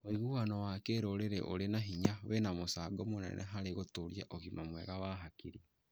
Wĩguano wa kĩrũrĩrĩ ũrĩ na hinya wĩna mũcango mũnene harĩ gũtũũria ũgima mwega wa hakiri.